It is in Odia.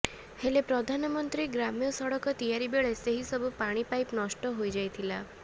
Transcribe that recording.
ହେଲେ ପ୍ରଧାନମନ୍ତ୍ରୀ ଗ୍ରାମ୍ୟ ସଡକ ତିଆରି ବେଳେ ସେହି ସବୁ ପାଣି ପାଇପ ନଷ୍ଟ ହୋଇଯାଇଥିଲା